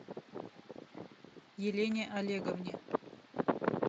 елене олеговне